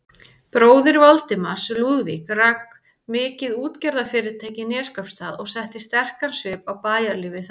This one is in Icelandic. Bróðir Valdimars, Lúðvík, rak mikið útgerðarfyrirtæki í Neskaupsstað og setti sterkan svip á bæjarlífið þar.